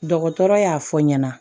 Dɔgɔtɔrɔ y'a fɔ ɲɛna